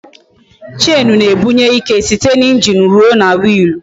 Chenu na-ebunye ike site n'injin ruo na Wiilu